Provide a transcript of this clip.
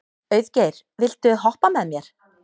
Auðgeir, viltu hoppa með mér?